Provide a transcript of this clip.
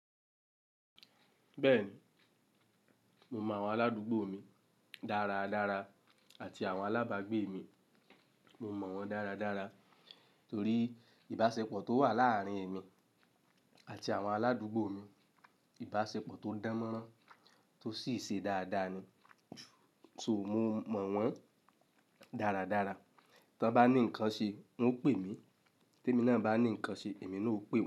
Bẹ́ẹ̀ni, mo mọ àwọn aládùúgbò mi dára dára àti àwọn alábàágbé mi. Mo mọ wọ́n dára dára torí ìbáṣepọ̀ tó wà láàárín èmi àti àwọn aládùúgbò mi. Ìbáṣepọ̀ tó dánmọ́rán tó sì ṣe dáadáa ni. So, mo mọ wọ́n dára dára. Tí wọ́n bá ní nǹkan ṣe, wọn ó pè mí, tí èmi náà bá ní nǹkan ṣe, èmi náà ó pè wọ́n.